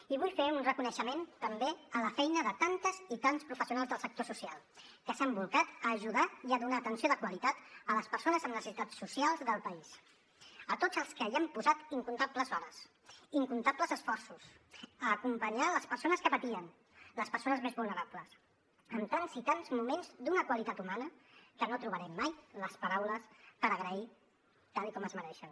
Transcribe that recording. i vull fer un reconeixement també a la feina de tantes i tants professionals del sector social que s’han bolcat a ajudar i a donar atenció de qualitat a les persones amb necessitats socials del país a tots els que hi han posat incomptables hores incomptables esforços a acompanyar les persones que patien les persones més vulnerables amb tants i tants moments d’una qualitat humana que no trobarem mai les paraules per agrair ho tal com es mereixen